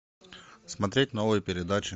смотреть новые передачи